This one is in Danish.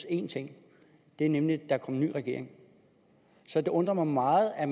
én ting nemlig at der er en ny regering så det undrer mig meget at